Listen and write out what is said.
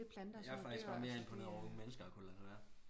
Jeg er faktisk bare mere imponeret vi mennesker har kunnet lade det være